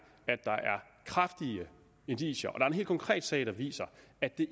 kraftige indicier og at er en helt konkret sag der viser at det